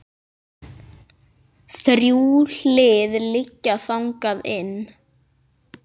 Þrjú hlið liggja þangað inn.